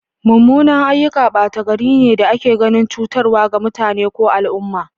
Mummunan ayyuka bata gaari ne da ake ganin cutarwa ga mutane ko al'umma.